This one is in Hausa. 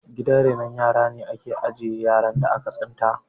Gidan renon yara wajene da ake ajiye yaran da aka tsinta